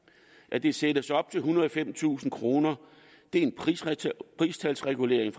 at det sættes op til ethundrede og femtusind kroner er en pristalsregulering